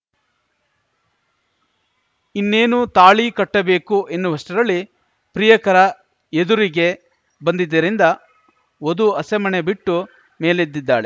ಇನ್ನೇನು ತಾಳಿ ಕಟ್ಟಬೇಕು ಎನ್ನುವಷ್ಟರಲ್ಲಿ ಪ್ರಿಯಕರ ಎದುರಿಗೆ ಬಂದಿದ್ದರಿಂದ ವಧು ಹಸೆಮಣೆ ಬಿಟ್ಟು ಮೇಲೆದ್ದಿದ್ದಾಳೆ